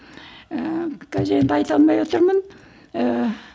ііі қазір енді айта алмай отырмын ііі